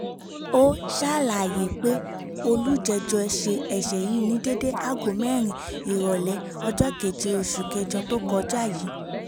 ó ṣàlàyé pé olùjẹ́jọ́ ṣe ẹsẹ yìí ní déédé aago mẹ́rin ìrọ̀lẹ́ ọjọ́ keje oṣù kẹjọ tó kọjá yìí